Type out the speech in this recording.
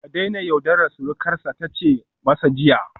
Ka daina yaudarar surukarsa ta ce masa jiya